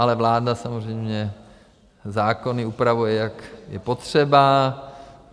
Ale vláda samozřejmě zákony upravuje, jak je potřeba.